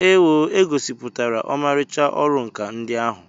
Ewoo! E gosipụtara ọmarịcha ọrụ nkà ndị ahụ.